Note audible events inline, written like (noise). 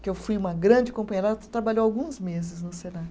que eu fui uma grande companheira, ela ta trabalhou alguns meses no (unintelligible)